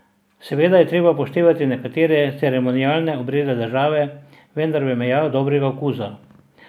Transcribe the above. Seveda je treba upoštevati nekatere ceremonialne obrede države, vendar v mejah dobrega okusa.